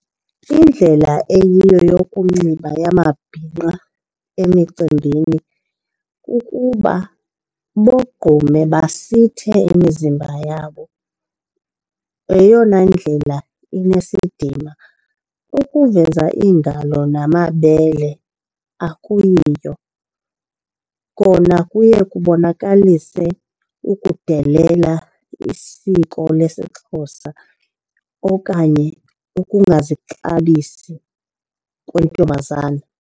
Indlela eyiyo yokunxiba yamabhinqa emicimbini kukuba bogqume basithe imizimba yabo. Yeyona ndlela inesidima, ukuveza iingalo namabele akuyiyo. Kona kuye kubonakalise ukudelela isiko lesiXhosa okanye ungazixabisi kwentombazana.